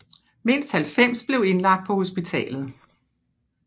Mindst 90 blev indlagt på hospitalet